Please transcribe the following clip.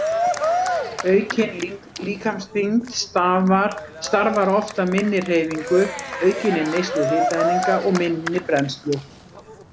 Aukin líkamsþyngd starfar oft af minni hreyfingu, aukinni neyslu hitaeininga og minni brennslu.